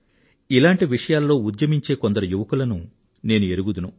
ఇలాంటి విషయాల్లో ఉద్యమించే కొందరు యువకులను నేను ఎరుగుదును